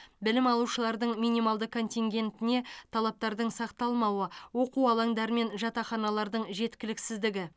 білім алушылардың минималды контингентіне талаптардың сақталмауы оқу алаңдары мен жатақханалардың жеткіліксіздігі